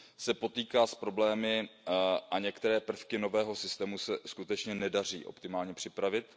se potýká s problémy a některé prvky nového systému se skutečně nedaří optimálně připravit.